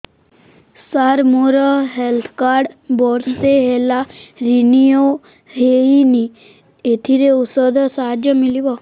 ସାର ମୋର health card ବର୍ଷେ ହେଲା ରିନିଓ ହେଇନି ଏଥିରେ ଔଷଧ ସାହାଯ୍ୟ ମିଳିବ